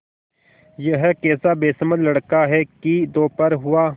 यह कैसा बेसमझ लड़का है कि दोपहर हुआ